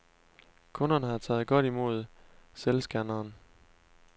Kunderne har taget godt imod selvscanneren.